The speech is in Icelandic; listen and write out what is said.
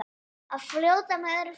Að fljóta með öðru fólki.